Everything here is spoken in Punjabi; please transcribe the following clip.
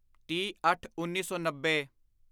ਤੀਹਅੱਠਉੱਨੀ ਸੌ ਨੱਬੇ